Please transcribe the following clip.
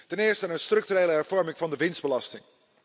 Ten eerste met een structurele hervorming van de winstbelasting.